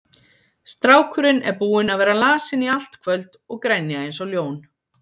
Strákurinn er búinn að vera lasinn í allt kvöld og grenja eins og ljón.